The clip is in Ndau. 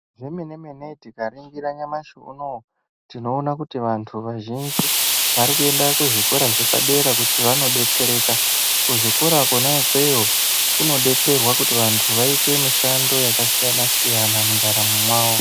Zvemene-mene tikakaningira nyamashi unowoo tinoona kuti vantu vazhinji varikuenda kuzvikora zvapadera kuti vandodetsereka. Kuzvikora kona ikweyo kunodetsrwa kuti vantu vaite mushando yakasiyana-siyana mundaramo mwawo.